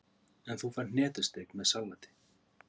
En þú færð hnetusteik með salati.